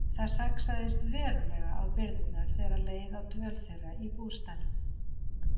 Það saxaðist verulega á birgðirnar þegar leið á dvöl þeirra í bústaðnum.